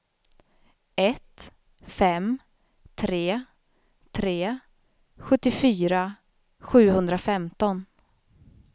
ett fem tre tre sjuttiofyra sjuhundrafemton